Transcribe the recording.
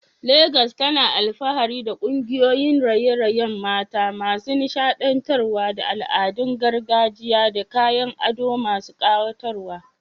Legas tana alfahari da kungiyoyin raye-rayen mata masu nishaɗantarwa da al'adun gargajiya da kayan ado masu kayatarwa.